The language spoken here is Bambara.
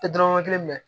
Tɛ dɔrɔmɛ kelen minɛ